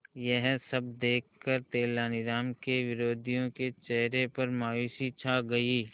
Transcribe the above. यह सब देखकर तेनालीराम के विरोधियों के चेहरे पर मायूसी छा गई